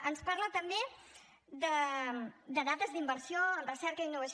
ens parla també de dades d’inversió amb recerca i innovació